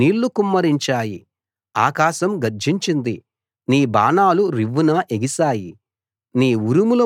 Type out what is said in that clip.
మబ్బులు నీళ్లు కుమ్మరించాయి ఆకాశం గర్జించింది నీ బాణాలు రివ్వున ఎగిశాయి